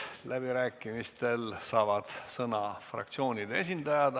Läbirääkimistel saavad sõna fraktsioonide esindajad.